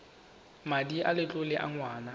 madi a letlole a ngwana